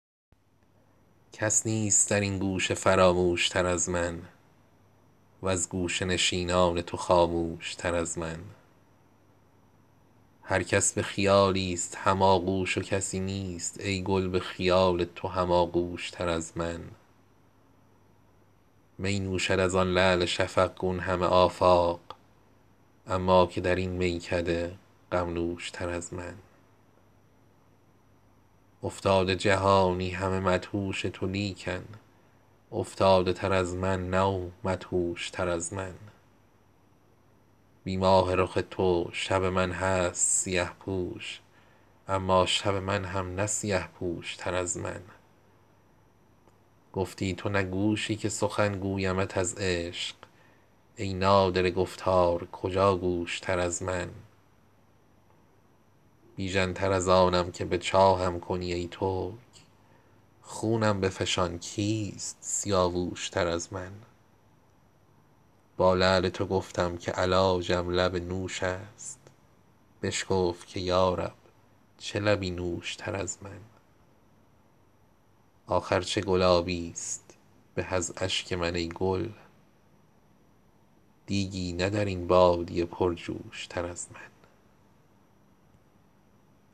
کس نیست در این گوشه فراموش تر از من وز گوشه نشینان تو خاموش تر از من هر کس به خیالی ست هم آغوش و کسی نیست ای گل به خیال تو هم آغوش تر از من می نوشد از آن لعل شفقگون همه آفاق اما که در این میکده غم نوش تر از من افتاده جهانی همه مدهوش تو لیکن افتاده تر از من نه و مدهوش تر از من بی ماه رخ تو شب من هست سیه پوش اما شب من هم نه سیه پوش تر از من گفتی تو نه گوشی که سخن گویمت از عشق ای نادره گفتار کجا گوش تر از من می خوابم و چشم از حسد مدعی ام باز کو خرتر از این حاسد و خرگوش تر از من بیژن تر از آنم که به چاهم کنی ای ترک خونم بفشان کیست سیاووش تر از من با لعل تو گفتم که علاجم لب نوش است بشکفت که یارب چه لبی نوش تر از من آخر چه گلابی است به از اشک من ای گل دیگی نه در این بادیه پرجوش تر از من